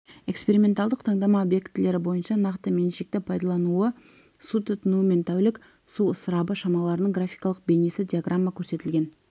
эксперименталдық таңдама объектілері бойынша нақты меншікті пайдалану су тұтыну мен тәулік су ысырабы шамаларының графикалық бейнесі диаграммада көрсетілген